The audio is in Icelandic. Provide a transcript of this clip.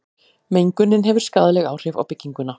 mengunin hefur skaðleg áhrif á bygginguna